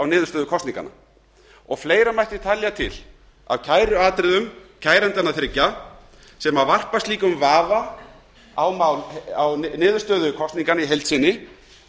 niðurstöðu kosninganna fleira mætti telja til af kæruatriðum kærendanna þriggja sem varpa slíku vafa á niðurstöðu kosninganna í heild sinni